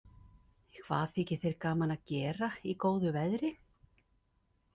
Hvað þykir þér gaman að gera í góðu veðri?